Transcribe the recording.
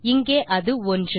இங்கே அது 1